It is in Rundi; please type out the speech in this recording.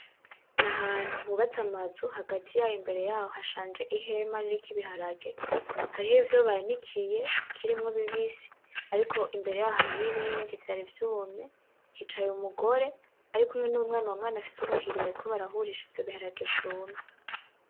N'ahantu hubatse amazu hagati yayo imbere yaho hashanje ihema ririko ibiharage, hariho ivyo banikiye bikirimwo bibisi, ariko imbere yaho hariho ibindi vyari vyumye, hicaye umugore ari kumwe n’umwana. Uwo mwana afise ubuhiri bariko barahurisha ivyo biharage vyumye.